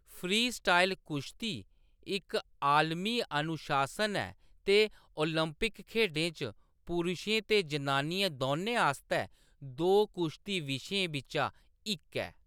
Freestyle कुश्ती इक आलमी अनुशासन ऐ ते ओलंपिक खेढें च पुरशें ते जनानियें दौनें आस्तै दो कुश्ती विशें बिच्चा इक ऐ।